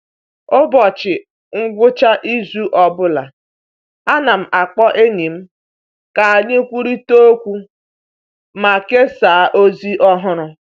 Ụbọchị ngwụcha izu ọ bụla, ana m akpọ enyi m ka anyị kwurịta okwu ma kesaa ozi ọhụrụ.